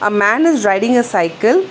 A man is riding a cycle.